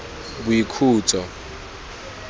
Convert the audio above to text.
boikhutso